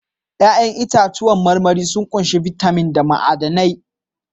Ya'yan itãcen marmari sun ƙunshi bitamin da ma'adanai